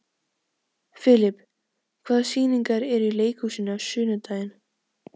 Filip, hvaða sýningar eru í leikhúsinu á laugardaginn?